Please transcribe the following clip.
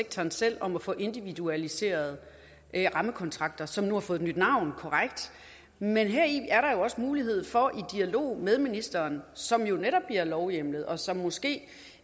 sektoren selv om at få individualiserede rammekontrakter som nu har fået nyt navn det er korrekt men heri er der også mulighed for i dialog med ministeren som jo netop bliver lovhjemlet og som måske